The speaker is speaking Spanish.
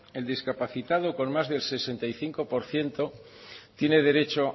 el discapacitado con más del sesenta y cinco por ciento tiene el derecho